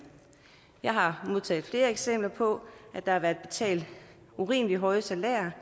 jeg har modtaget flere eksempler på at der har været betalt urimelig høje salærer